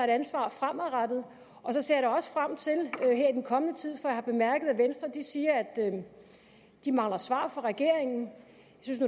ansvar fremadrettet jeg ser da også frem til den kommende tid jeg har bemærket at venstre siger at de mangler svar fra regeringen